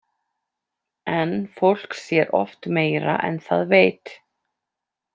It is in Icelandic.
En fólk sér oft meira en það veit.